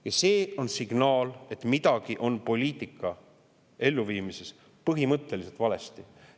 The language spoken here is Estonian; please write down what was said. Ja see on signaal, et midagi on poliitika elluviimises põhimõtteliselt valesti.